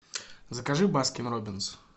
закажи баскин роббинс